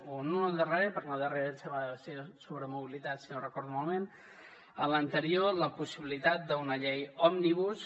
o no en la darrera perquè la darrera em sembla que va ser sobre mobilitat si no recordo malament en l’anterior la possibilitat d’una llei òmnibus